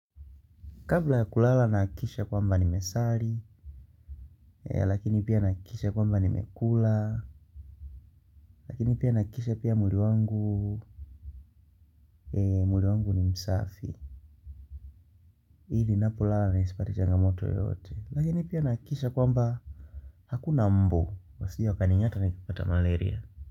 Kabla ya kulala nahakikisha kwamba ni mesali. Lakini pia nahakikisha kwamba ni mekula. Lakini pia nahakikisha pia mwili wangu mwili wangu ni msafi ili napolala ni sipate changamoto yoyote. Lakini pia nahakikisha kwamba hakuna mbu wasije wa kani ng'ata nikipata malaria.